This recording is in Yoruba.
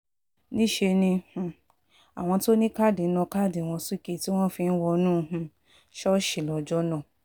níṣẹ́ ni um àwọn tó ní káàdì ń na káàdì wọn sókè tí wọ́n fi ń wọnú um ṣọ́ọ̀ṣì lọ́jọ́ náà